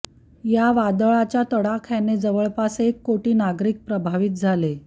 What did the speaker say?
या वादळाच्या तडाख्याने जवळपास एक कोटी नागरिक प्रभावित झाले